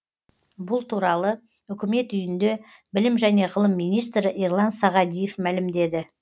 бұл туралы үкімет үйінде білім және ғылым министрі ерлан сағадиев мәлімдеді